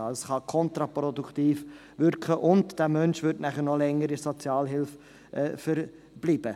Dies kann kontraproduktiv wirken, und dieser Mensch würde noch länger in der Sozialhilfe verbleiben.